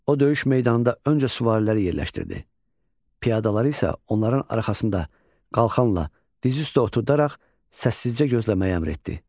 O döyüş meydanında öncə süvariləri yerləşdirdi, piyadaları isə onların arxasında qalxanla diz üstə oturdaraq səssizcə gözləməyi əmr etdi.